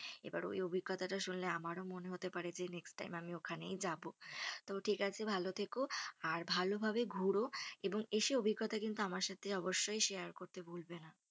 এবার ওই অভিঙ্গতাটা শুনলে আমারও মনে হতে পারে যে next time আমি ওখানেই যাব। তো ঠিক আছে ভালো থেকো আর ভালোভাবে ঘোরো এবং এসে অভিঙ্গতা কিন্তু আমার সাথে অবশ্যই share করতে ভুলবে না।